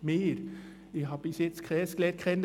Ich habe bis jetzt keines kennengelernt.